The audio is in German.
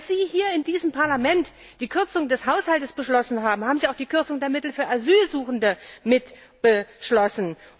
Und als Sie hier in diesem Parlament die Kürzung des Haushalts beschlossen haben, haben Sie auch die Kürzung der Mittel für Asylsuchende mitbeschlossen.